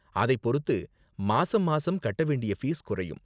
அதை பொறுத்து மாசம் மாசம் கட்ட வேண்டிய ஃபீஸ் குறையும்.